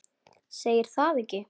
Segir það ekki?